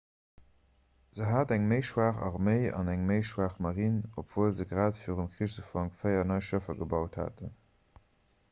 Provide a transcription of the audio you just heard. se hat eng méi schwaach arméi an eng méi schwaach marine obwuel se grad virum krichsufank véier nei schëffer gebaut haten